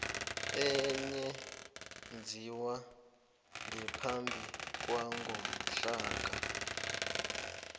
eyenziwe ngaphambi kwangomhlaka